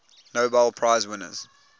nobel prize winners